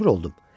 Məcbur oldum.